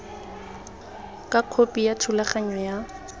ka khopi ya thulaganyo ya